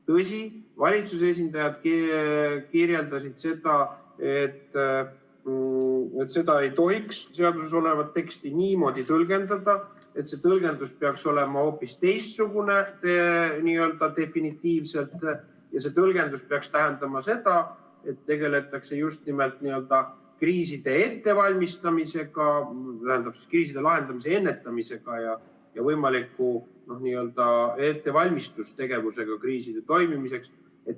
Tõsi, valitsuse esindajad ütlesid, et ei tohiks seaduses olevat teksti niimoodi tõlgendada, et see tõlgendus peaks olema hoopis teistsugune n-ö definitiivselt ja see tõlgendus peaks tähendama seda, et tegeldakse just nimelt kriiside ettevalmistamisega, tähendab, kriiside lahendamise, ennetamise ja võimaliku n-ö ettevalmistustegevusega kriiside toimimiseks.